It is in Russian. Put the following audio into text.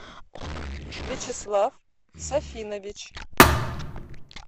вячеслав сафинович